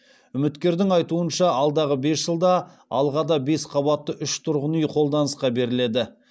үміткердің айтуынша алдағы бес жылда алғада бес қабатты үш тұрғын үй қолданысқа беріледі